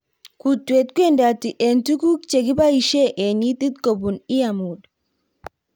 Kutweet kwendati eng tuguk che kibaishe eng itiit kobun earmod